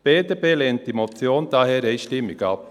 Die BDP lehnt diese Motion daher einstimmig ab.